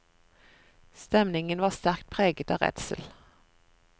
Stemningen var sterkt preget av redsel.